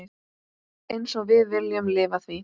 Einsog við viljum lifa því.